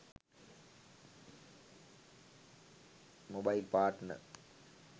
mobile partner